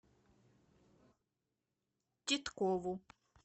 титкову